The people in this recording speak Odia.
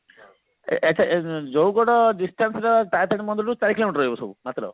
ଏ ଏ ଆଛା ଜଉଗଡ distance ଟା ତାରାତାରିଣୀ ମନ୍ଦିର ରୁ ଚାରି କିଲୋମିଟର ରହିବ ମାତ୍ର